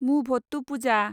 मुभट्टुपुजा